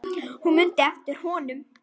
Hún mundi eftir honum.